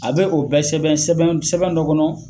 A be o bɛ sɛbɛn sɛbɛn sɛbɛn dɔ kɔnɔ